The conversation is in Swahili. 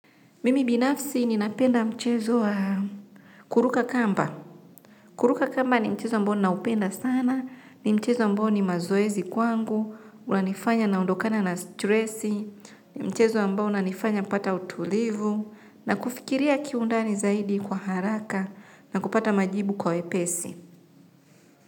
Mimi binafsi ninapenda mchezowa kuruka kamba. Kuruka kamba ni mchezo ambaona upenda sana. Ni mchezo ambao ni mazoezi kwangu. Unanifanya na ondokana na stressi. Ni mchezo ambaouna nifanya pata utulivu. Na kufikiria kiundani zaidi kwa haraka na kupata majibu kwa wepesi.